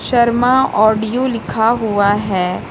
Sharma audio लिखा हुआ है।